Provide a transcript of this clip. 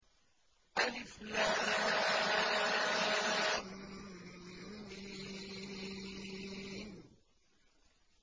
الم